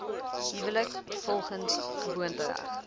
huwelik volgens gewoontereg